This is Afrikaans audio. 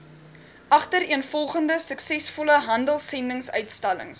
agtereenvolgende suksesvolle handelsendinguitstallings